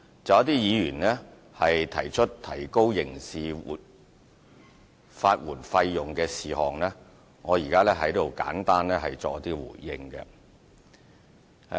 就一些議員提出提高刑事法援費用，我現在作簡單的回應。